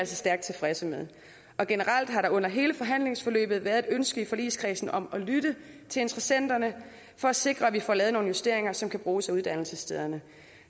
stærkt tilfredse med generelt har der under hele forhandlingsforløbet været et ønske i forligskredsen om at lytte til interessenterne for at sikre at vi får lavet nogle justeringer som kan bruges af uddannelsesstederne